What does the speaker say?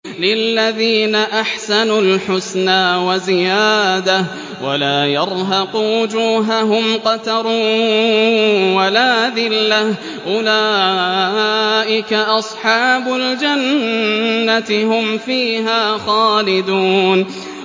۞ لِّلَّذِينَ أَحْسَنُوا الْحُسْنَىٰ وَزِيَادَةٌ ۖ وَلَا يَرْهَقُ وُجُوهَهُمْ قَتَرٌ وَلَا ذِلَّةٌ ۚ أُولَٰئِكَ أَصْحَابُ الْجَنَّةِ ۖ هُمْ فِيهَا خَالِدُونَ